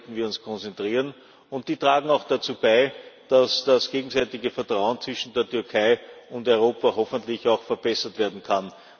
sind. Auf die sollten wir uns konzentrieren, und die tragen auch dazu bei, dass das gegenseitige Vertrauen zwischen der Türkei und Europa hoffentlich auch verbessert werden